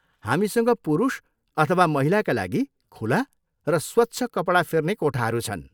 हामीसँग पुरुष अथवा महिलाका लागि खुला र स्वच्छ कपडा फेर्ने कोठाहरू छन्।